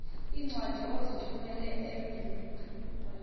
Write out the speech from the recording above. iincwadi ozithumela ebiblecor